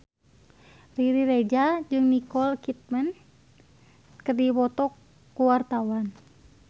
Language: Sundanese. Riri Reza jeung Nicole Kidman keur dipoto ku wartawan